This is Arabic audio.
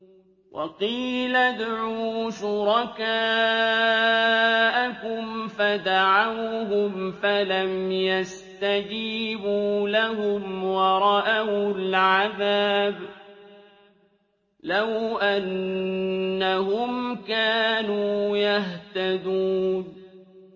وَقِيلَ ادْعُوا شُرَكَاءَكُمْ فَدَعَوْهُمْ فَلَمْ يَسْتَجِيبُوا لَهُمْ وَرَأَوُا الْعَذَابَ ۚ لَوْ أَنَّهُمْ كَانُوا يَهْتَدُونَ